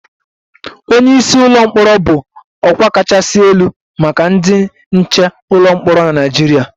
Onye isi ụlọ mkpọrọ bụ ọkwa kachasị elu maka ndị nche ụlọ mkpọrọ na Nigeria